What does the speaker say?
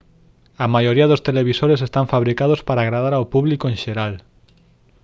a maioría dos televisores están fabricados para agradar ao público en xeral